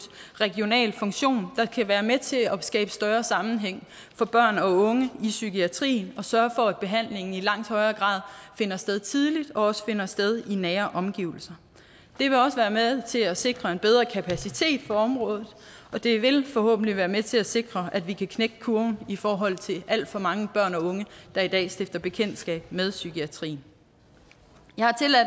regional funktion der kan være med til at skabe en større sammenhæng for børn og unge i psykiatrien og sørge for at behandlingen i langt højere grad finder sted tidligt og også finder sted i nære omgivelser det vil også være med til at sikre en bedre kapacitet på området og det vil forhåbentlig være med til at sikre at vi kan knække kurven i forhold til alt for mange børn og unge der i dag stifter bekendtskab med psykiatrien jeg